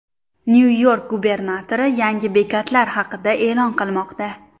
Nyu-York gubernatori yangi bekatlar haqida e’lon qilmoqda.